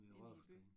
Inde i byen